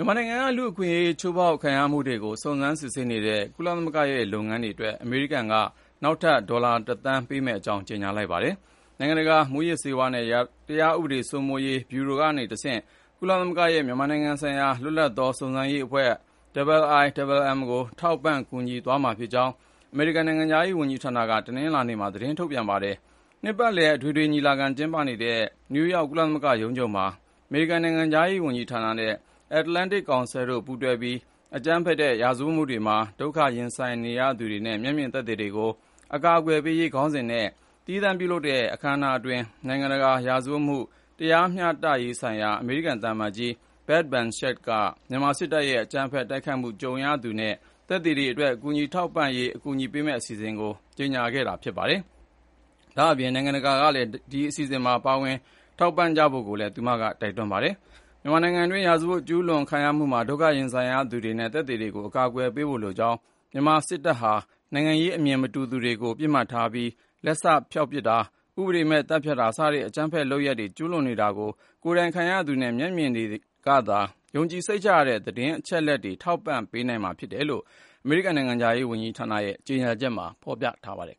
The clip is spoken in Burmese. ြန်မာနိုင်ငံက လူ့အခွင့်အရေး ချိုးဖောက်မှုတွေကို စုံစမ်းစစ်ဆေးနေတဲ့ ကုလသမဂ္ဂရဲ့ လုပ်ငန်းတွေအတွက် အမေရိကန်က နောက်ထပ် ဒေါ်လာ ၁ သန်းပေးမယ့်အကြောင်း ကြေညာလိုက်ပါတယ်။ နိုင်ငံတကာ မူးယစ်ဆေးဝါးနဲ့ တရားဥပဒေစိုးမိုးရေး ဗျူရိုကတဆင့် ကုလသမဂ္ဂရဲ့ မြန်မာနိုင်ငံဆိုင်ရာ လွတ်လပ်သော စုံစမ်းရေးအဖွဲ့ IIMM ကို ထောက်ပံ့ကူညီသွားမှာဖြစ်ကြောင်း အမေရိကန်နိုင်ငံခြားရေး ဝန်ကြီးဌာနက တနင်္လာနေ့မှာ သတင်းထုတ်ပြန်ခဲ့တာပါ။ နှစ်ပတ်လည် အထွေထွေညီလာခံကျင်းပနေတဲ့ နယူးယောက် ကုလသမဂ္ဂရုံးချုပ်မှာ၊ အမေရိကန် နိုင်ငံခြားရေးဌာနနဲ့ Atlantic Council တို့ပူးတွဲပြီး “အကြမ်းဖက်တဲ့ ရာဇဝတ်မှုတွေမှာ ဒုက္ခရင်ဆိုင်ရသူတွေနဲ့ မျက်မြင်သက်သေတွေကို အကာအကွယ်ပေးရေး” ခေါင်းစဉ်နဲ့ သီးသန့်ပြုလုပ်တဲ့ အခန်းအနားအတွင်း နိုင်ငံတကာရာဇဝတ်မှု တရားမျှတရေးဆိုင်ရာ အမေရိကန် သံအမတ်ကြီး Beth Van Schaack က မြန်မာစစ်တပ်ရဲ့အကြမ်းဖက် တိုက်ခိုက်မှု ကြုံခဲ့ရသူတွေနဲ့ မျက်မြင်သက်သေတွေအတွက် ကူညီထောက်ပံ့နိုင်ရေး အကူအညီပေးမယ့် အစီအစဉ်ကို ကြေညာခဲ့တာဖြစ်ပြီး၊ တခြားနိုင်ငံတကာ အစိုးရတွေ အနေနဲ့လည်း အလားတူ ကူညီထည့်ဝင်ကြဖို့ကိုလည်း တိုက်တွန်းထားပါတယ်။ မြန်မာနိုင်ငံတွင်း ရာဇဝတ် ကျူးလွန်ခံရမှုမှာ ဒုက္ခရင်ဆိုင်ရသူတွေနဲ့ သက်သေတွေကို အကာအကွယ်ပေးဖို့ လိုကြောင်း၊ မြန်မာစစ်တပ်ဟာ နိုင်ငံရေးအမြင် မတူသူတွေကို ပစ်မှတ်ထားပြီး လက်စဖျောက်ပစ်တာ၊ ဥပဒေမဲ့ သတ်ဖြတ်တာ စတဲ့ အကြမ်းဖက် ရာဇဝတ်မှု ကျူးလွန် နေတာကို ကိုယ်တိုင်ခံရသူတွေနဲ့ မျက်မြင်တွေကသာ ယုံကြည်စိတ်ချရတဲ့ သတင်းအချက်အလက်တွေ ထောက်ပံ့နိုင်မှာဖြစ်တယ်လို့ အမေရိကန်နိုင်ငံခြားရေးဌာနရဲ့ ကြေညာချက်မှာဖေါ်ပြပါတယ်